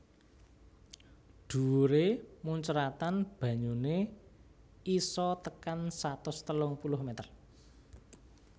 Dhuwuré muncratan banyuné isa tekan satus telung puluh meter